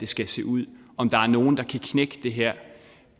skal se ud om der er nogen der kan knække det her